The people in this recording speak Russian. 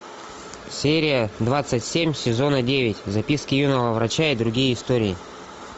серия двадцать семь сезона девять записки юного врача и другие истории